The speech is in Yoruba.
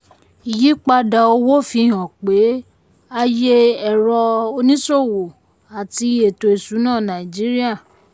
ìyípadà owó fihan ipa ayé èrò oníṣòwò àti eto ìṣúnná nàìjíríà.